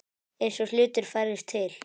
Eins og hlutir færðust til.